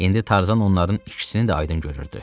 İndi Tarzan onların ikisini də aydın görürdü.